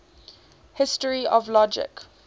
history of logic